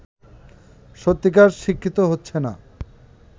সত্যিকার শিক্ষিত হচ্ছে না